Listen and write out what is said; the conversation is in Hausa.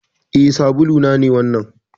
Eh. sabulu na ne wannan.